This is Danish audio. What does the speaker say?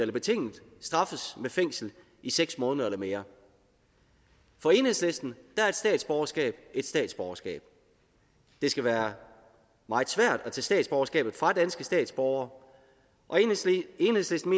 straffes med fængsel i seks måneder eller mere for enhedslisten er et statsborgerskab et statsborgerskab det skal være meget svært at tage statsborgerskabet fra danske statsborgere og enhedslisten